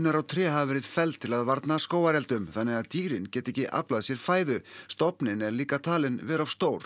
og tré hafa verið felld til að varna skógareldum þannig að dýrin geta ekki aflað sér fæðu stofninn er líka talinn vera of stór